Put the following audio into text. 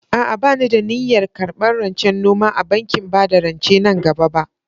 A'a, ba ni da niyyar karɓar rancen noma a bankin bada rance nan gaba ba.